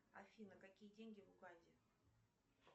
афина какие деньги в уганде